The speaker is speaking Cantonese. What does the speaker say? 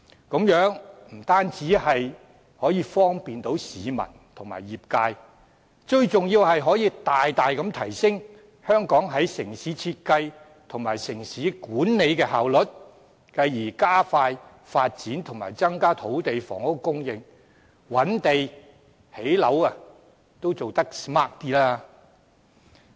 這樣不單方便市民和業界，最重要是可以大大提升香港在城市設計和城市管理的效率，繼而加快發展和增加土地及房屋供應，覓地和興建樓房也能因而做得更 smart。